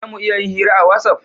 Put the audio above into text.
Za mu iya yin hira a watsapp?